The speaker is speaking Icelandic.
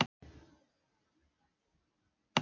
Jú, það hringdi og Tóti kom sjálfur í símann.